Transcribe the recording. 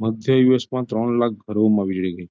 મધ્યદિવસમાં ત્રણ લાખ ઘરોમાં વીજળી ગઈ.